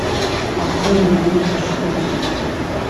открой мне кино спешите любить